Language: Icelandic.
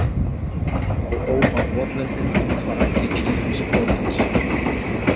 Þá óma votlendin af kvaki klifursprotans.